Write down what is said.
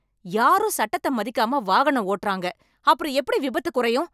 யாரும் சட்டத்த மதிக்காம வாகனம் ஓட்டுறாங்க, அப்புறம் எப்படி விபத்து குறையும்?